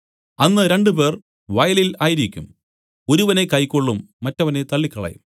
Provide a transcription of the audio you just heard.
അന്ന് രണ്ടുപേർ വയലിൽ ആയിരിക്കും ഒരുവനെ കൈക്കൊള്ളും മറ്റവനെ തള്ളികളയും